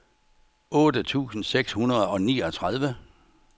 otte tusind seks hundrede og niogtredive